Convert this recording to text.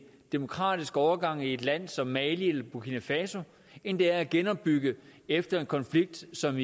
demokratisk overgang i et land som mali eller burkina faso end det er at genopbygge efter konflikter som